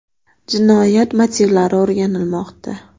Jinoyat motivlari o‘rganilmoqda.